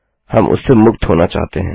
हम उससे मुक्त होना चाहते हैं